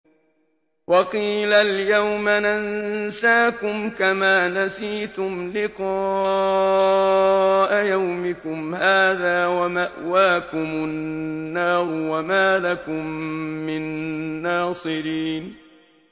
وَقِيلَ الْيَوْمَ نَنسَاكُمْ كَمَا نَسِيتُمْ لِقَاءَ يَوْمِكُمْ هَٰذَا وَمَأْوَاكُمُ النَّارُ وَمَا لَكُم مِّن نَّاصِرِينَ